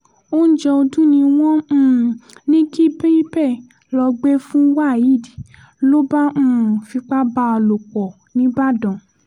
oúnjẹ ọdún ni wọ́n um ní kí bípẹ́ lọ́ọ́ gbé fún waheed ló bá um fipá bá a lò pọ̀ nìbàdàn